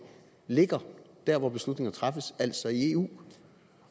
ligger der hvor beslutninger træffes altså i eu